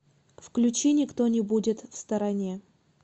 включи никто не будет в стороне